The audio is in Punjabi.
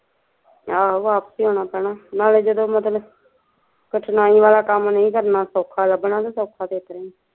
ਆਹੋ ਵਾਪਿਸ ਈ ਆਉਣਾ ਪੈਣ ਨਾਲੇ ਜਦੋਂ ਮਤਲਬ ਕਠਿਨਾਈ ਵਾਲਾ ਕੰਮ ਨਹੀਂ ਕਰਨਾ ਸੋਖਾ ਲੱਗਣਾ ਤੇ ਸੋਖਾ ਤੇ ਇਸ ਤਰਾਂ ਈ